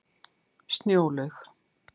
Snjólaug